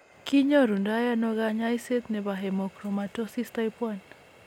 kinyoru ndo ano kanyaiset nebo hemochromatosis type1